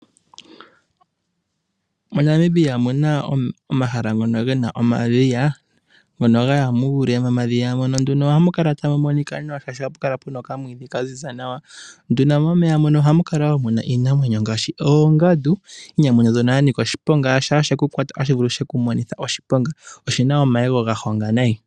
Monamibia omuna omahala ngono gena omadhiya ,ngono gaya muule momadhiya ohamu kala tamu monika nawa shaashi ohapu kala okamwiidhi kaziza nawa, nduno momeya muno ohamukala woo muna iinamwenyo ngaashi oongadu, iinamwenyo nzono yanika oshiponga, shaa shekukwata otashi vulu shiku monithe oshiponga, oshina omayego gahonga nayi.